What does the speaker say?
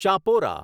Chapora